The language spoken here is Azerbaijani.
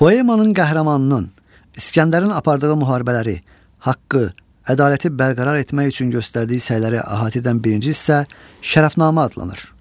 Poemanın qəhrəmanının, İskəndərin apardığı müharibələri, haqqı, ədaləti bərqərar etmək üçün göstərdiyi səyləri əhatə edən birinci hissə Şərəfnamə adlanır.